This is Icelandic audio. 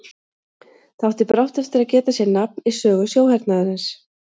Það átti brátt eftir að geta sér nafn í sögu sjóhernaðarins.